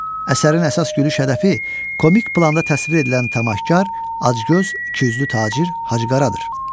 Əsərin əsas gülüş hədəfi komik planda təsvir edilən Təmaşkar, Acgöz, İkiyüzlü tacir Hacı Qaradır.